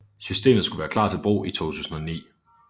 Systemet skulle være klar til brug i 2009